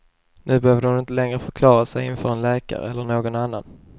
Nu behövde hon inte längre förklara sig inför en läkare, eller någon annan.